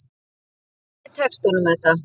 Vonandi tekst honum þetta.